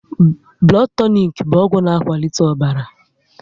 Blood tonik bụ ọgwụ na akwalite ọbara